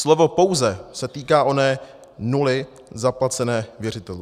Slovo pouze se týká oné nuly zaplacené věřitelům.